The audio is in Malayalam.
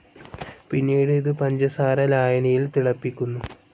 പിന്നീട് ഇത് പഞ്ചസാര ലായനിയിൽ തിളപ്പിക്കുന്നു.